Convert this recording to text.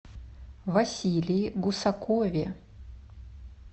василии гусакове